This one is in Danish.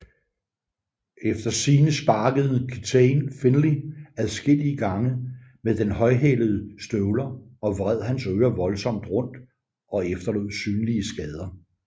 Effter sigende sparkede Kitaen Finley adskillige gange med højhælede støvler og vred hans ører voldsomt rundt og efterlod synlige skader